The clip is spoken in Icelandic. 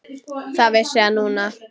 Það vissi hann núna.